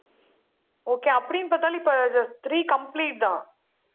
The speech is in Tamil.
okay அப்படின்னு பார்த்தாலும், இப்ப இது three complete தான்.